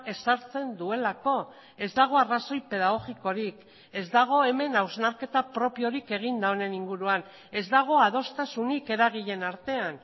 ezartzen duelako ez dago arrazoi pedagogikorik ez dago hemen hausnarketa propiorik eginda honen inguruan ez dago adostasunik eragileen artean